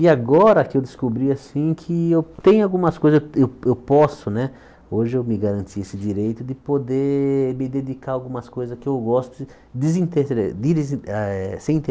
E agora que eu descobri assim que eu tem algumas coisas eu eu posso né... Hoje eu me garanti esse direito de poder me dedicar a algumas coisas que eu gosto desintere dirisi eh ah sem